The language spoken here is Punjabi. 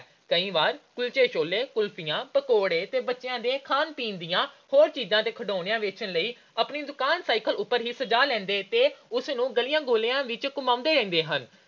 ਕਈ ਵਾਰ ਕੁਲਚੇ-ਛੋਲੇ, ਕੁਲਫੀਆਂ, ਪਕੌੜੇ ਤੇ ਬੱਚਿਆਂ ਦੇ ਖਾਣ-ਪੀਣ ਦੀਆਂ ਹੋਰ ਚੀਜਾਂ ਤੇ ਖਿਡੌਣੇ ਵੇਚਣ ਲਈ ਆਪਣੀ ਦੁਕਾਨ cycle ਤੇ ਹੀ ਸਜਾ ਲੈਂਦੇ ਹਨ ਤੇ ਉਸਨੂੰ ਗਲੀਆਂ-ਮੁਹੱਲਿਆਂ ਵਿੱਚ ਘੁੰਮਾਉਂਦੇ ਰਹਿੰਦੇ ਹਨ।